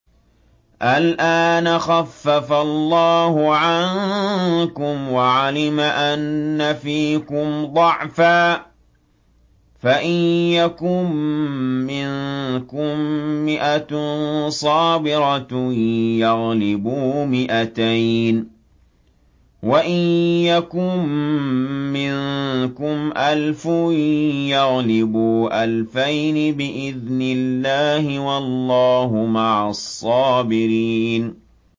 الْآنَ خَفَّفَ اللَّهُ عَنكُمْ وَعَلِمَ أَنَّ فِيكُمْ ضَعْفًا ۚ فَإِن يَكُن مِّنكُم مِّائَةٌ صَابِرَةٌ يَغْلِبُوا مِائَتَيْنِ ۚ وَإِن يَكُن مِّنكُمْ أَلْفٌ يَغْلِبُوا أَلْفَيْنِ بِإِذْنِ اللَّهِ ۗ وَاللَّهُ مَعَ الصَّابِرِينَ